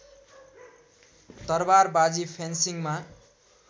तरवारबाजी फेन्सिङमा